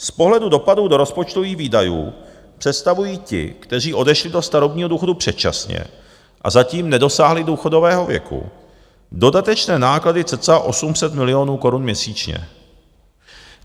Z pohledu dopadů do rozpočtových výdajů představují ti, kteří odešli do starobního důchodu předčasně a zatím nedosáhli důchodového věku, dodatečné náklady cca 800 milionů korun měsíčně.